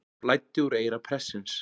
Blæddi úr eyra prestsins